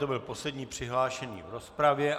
To byl poslední přihlášený v rozpravě.